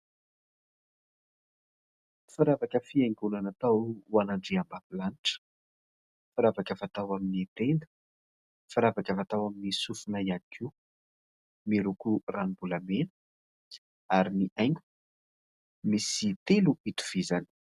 Firavaka fihaingoana natoa ho andriambavilanitra. Firavaka fatao amin'ny tenda, firavaka fatao amin'ny sofona iany koa. Miloko ranom-bolamena ary ny haingo misy telo itovizany.